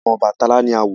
Ìtàn Obàtálá ni a wọ.